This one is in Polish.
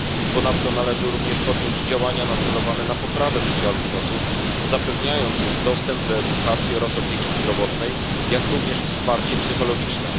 Ponadto należy również podjąć działania nacelowane na poprawę życia albinosów, zapewniając im dostęp do edukacji oraz opieki zdrowotnej, jak również wsparcie psychologiczne.